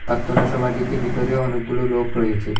পার্থনা সভাটিতে বিতরেও অনেকগুলো লোক রয়েছে।